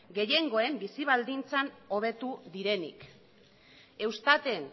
gehiengoen bizi baldintzak hobetu direnik eustaten